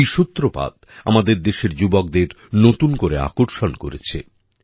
এই সূত্রপাত আমাদের দেশের যুবকদের নতুন করে আকর্ষণ করেছে